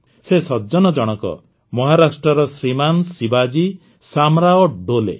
ସେ ସଜ୍ଜନ ଜଣକ ମହାରାଷ୍ଟ୍ରର ଶ୍ରୀମାନ୍ ଶିବାଜୀ ସାମ୍ରାଓ ଡୋଲେ